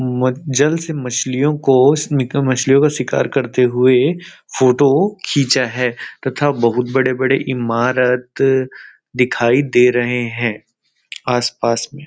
म जल से मछलियों को उस निक मछलियों का शिकार करते हुए फोटो खीचा है तथा बहुत बड़े-बड़े इमारत दिखाई दे रहे है आस पास में --